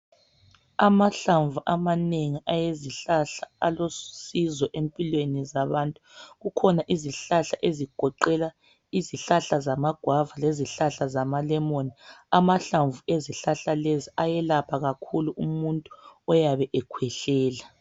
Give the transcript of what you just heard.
Amahlamvu amanengi awezihlahla alosizo empilweni zabantu. Kukhona izihlahla ezigoqela amaguava lezihlahla zamalemoni amahlamvu ezihlahla lezi ayelapha kakhulu umuntu oyabe ekhwehlela.